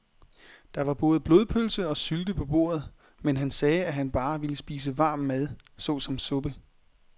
Der var både blodpølse og sylte på bordet, men han sagde, at han bare ville spise varm mad såsom suppe.